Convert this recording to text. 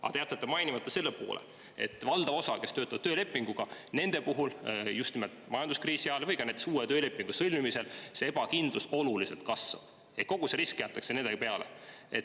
Aga te jätate mainimata selle poole, et valdaval osal neist, kes töötavad töölepinguga, ebakindlus oluliselt kasvab – just majanduskriisi ajal või ka näiteks uue töölepingu sõlmimisel – ja kogu risk jäetakse nende kanda.